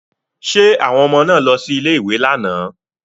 Ṣé àwọn ọmọ náà lọ sí ilé-ìwé lánàá?